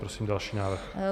Prosím další návrh.